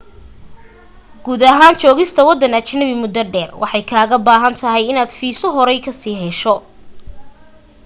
guud ahaan joogista waddan ajanabi muddo dheer waxay kaaga baahan tahay inaad fiiso horey ka sii hesho